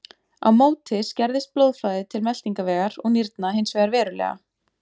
Á móti skerðist blóðflæði til meltingarvegar og nýrna hins vegar verulega.